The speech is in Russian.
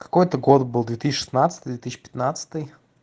какой это год был две тысячи пятнадцатый две тысячи шестнадцатый